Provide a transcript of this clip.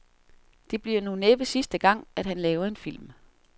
Det bliver nu næppe sidste gang, at han laver en film.